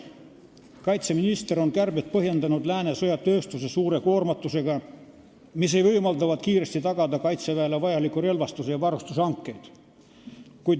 Kaitseminister on kärbet põhjendanud Lääne sõjatööstuse suure koormatusega, mis ei võimaldavat kiiresti tagada Kaitseväele vajaliku relvastuse ja varustuse hankeid.